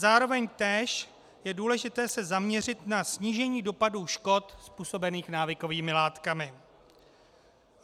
Zároveň též je důležité se zaměřit na snížení dopadu škod způsobených návykovými látkami.